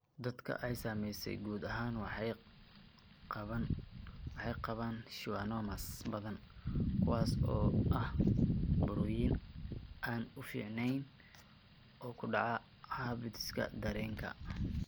Dadka ay saameysay guud ahaan waxay qabaan schwannomas badan, kuwaas oo ah burooyin aan fiicneyn oo ku dhaca habdhiska dareenka.